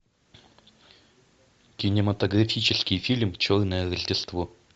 кинематографический фильм черное рождество